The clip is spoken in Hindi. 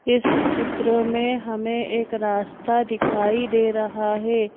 इस चित्र में हमें एक रास्ता दिखाई दे रहा हे ।